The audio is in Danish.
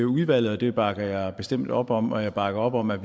udvalget og det bakker jeg bestemt op om og jeg bakker op om at